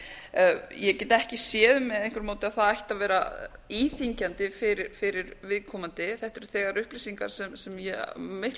ég get ekki séð með einhverju móti að það ætti að vera íþyngjandi fyrir viðkomandi þetta eru þegar upplýsingar sem ríkisskattstjóri er að miklu